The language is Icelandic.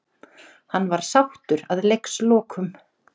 Hann var sáttur að leikslokum.